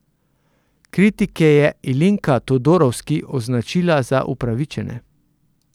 Kritike je Ilinka Todorovski označila za upravičene.